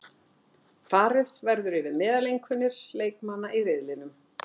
Farið verður yfir meðaleinkunnir leikmanna í riðlinum,